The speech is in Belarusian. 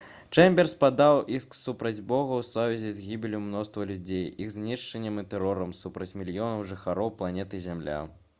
чэмберс падаў іск супраць бога ў сувязі з «гібеллю мноства людзей іх знішчэннем і тэрорам супраць мільёнаў жыхароў планеты зямля»